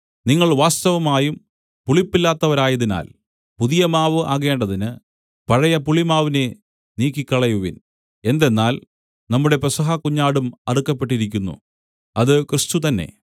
നിങ്ങൾ വാസ്തവമായും പുളിപ്പില്ലാത്തവരായതിനാൽ പുതിയ മാവ് ആകേണ്ടതിന് പഴയ പുളിമാവിനെ നീക്കിക്കളയുവിൻ എന്തെന്നാൽ നമ്മുടെ പെസഹ കുഞ്ഞാടും അറുക്കപ്പെട്ടിരിക്കുന്നു അത് ക്രിസ്തു തന്നെ